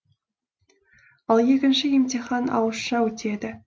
ал екінші емтихан ауызша өтеді